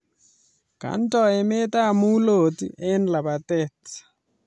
Kendo emetab mulot eng labatet